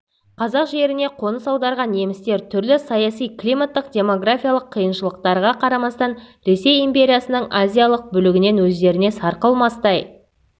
қазақ жеріне қоныс аударған немістер түрлі саяси климаттық демографиялық қиыншылықтарға қарамастан ресей империясының азиялық бөлігінен өздеріне сарқылмастай